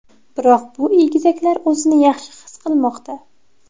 Biroq bu egizaklar o‘zini yaxshi his qilmoqda.